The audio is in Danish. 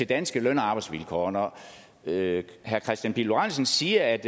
danske løn og arbejdsvilkår når herre kristian pihl lorentzen siger at